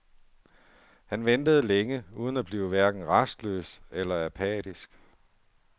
Han ventede længe uden at blive hverken rastløs eller apatisk.